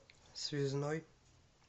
связной